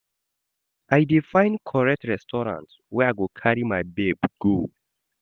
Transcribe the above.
I dey find correct restaurant wey I go carry my babe go.